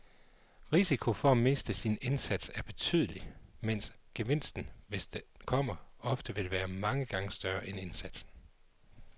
Risikoen for at miste sin indsats er betydelig, mens gevinsten, hvis den kommer, ofte vil være mange gange større end indsatsen.